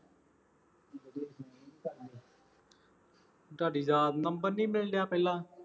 ਤੁਹਾਡੀ ਯਾਦ ਨੰਬਰ ਨਹੀਂ ਮਿਲ ਰਿਹਾ ਪਹਿਲਾਂ